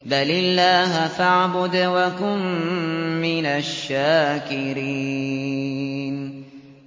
بَلِ اللَّهَ فَاعْبُدْ وَكُن مِّنَ الشَّاكِرِينَ